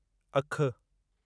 अखि